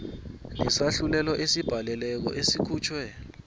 nesahlulelo esibhalelweko esikhutjhwe